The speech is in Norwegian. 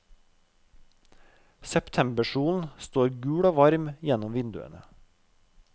Septembersolen står gul og varm gjennom vinduene.